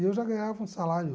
E eu já ganhava um salário.